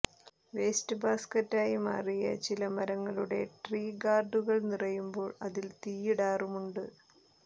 waste ബാസ്ക്കറ്റായി മാറിയ ചില മരങ്ങളുടെ ട്രീ ഗാർഡുകൾ നിറയുമ്പോൾ അതിൽ തീയിടാറുമുണ്ട്